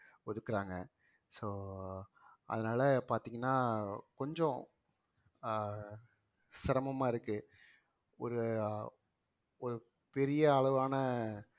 ஒதுக்குறாங்க so அதனால பாத்தீங்கன்னா கொஞ்சம் ஆஹ் சிரமமா இருக்கு ஒரு ஒரு பெரிய அளவான